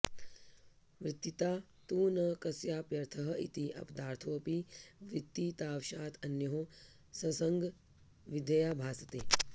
वृत्तिता तु न कस्याप्यर्थः इति अपदार्थोऽपि वृत्तितावशात् अनयोः संसर्गविधया भासते